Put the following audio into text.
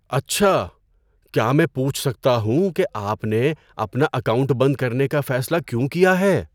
اچھا! کیا میں پوچھ سکتا ہوں کہ آپ نے اپنا اکاؤنٹ بند کرنے کا فیصلہ کیوں کیا ہے۔